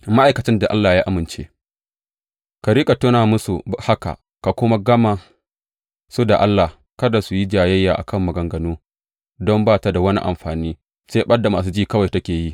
Ma’aikacin da Allah ya amince Ka riƙa tuna masu da haka, ka kuma gama su da Allah, kada su yi jayayya a kan maganganu, don ba ta da wani amfani, sai ɓad da masu ji kawai take yi.